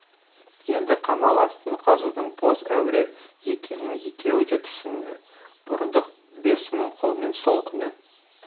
енді қамал астын қазудың бос әуре екенін екеуі де түсінді бұрындық бес мың қолмен сол күні